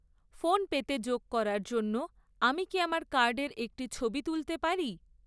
ফোনপেতে যোগ করার জন্য আমি কি আমার কার্ডের একটি ছবি তুলতে পারি?